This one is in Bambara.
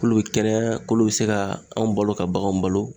bɛ kɛnɛya, bɛ se ka anw balo ka baganw balo